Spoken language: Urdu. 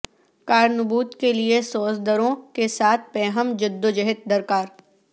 کار نبوت کے لیےسوز دروں کے ساتھ پیہم جدوجہد درکار